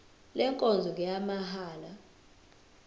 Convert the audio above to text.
le nkonzo ngeyamahala